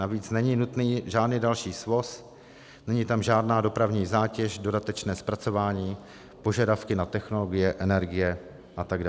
Navíc není nutný žádný další svoz, není tam žádná dopravní zátěž, dodatečné zpracování, požadavky na technologie, energie atd.